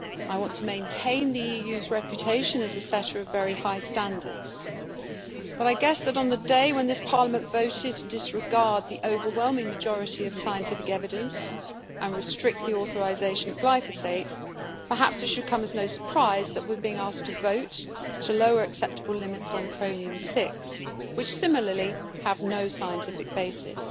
I want to maintain the EU's reputation as a setter of very high standards, but I guess that on the day when this Parliament voted to disregard the overwhelming majority of scientific evidence and restrict the authorisation of glyphosate, perhaps it should come as no surprise that we are being asked to vote to lower acceptable limits on chromium 6, which similarly have no scientific basis.